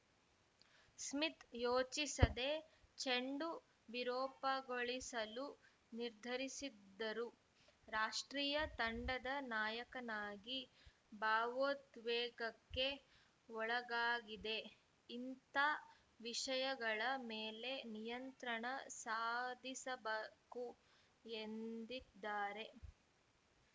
Smith ಯೋಚಿಸದೆ ಚೆಂಡು ವಿರೂಪಗೊಳಿಸಲು ನಿರ್ಧರಿಸಿದ್ದರು ರಾಷ್ಟ್ರೀಯ ತಂಡದ ನಾಯಕನಾಗಿ ಭಾವೋದ್ವೇಗಕ್ಕೆ ಒಳಗಾಗಿದೆ ಇಂಥ ವಿಷಯಗಳ ಮೇಲೆ ನಿಯಂತ್ರಣ ಸಾಧಿಸಬಾಕು ಎಂದಿದ್ದಾರೆ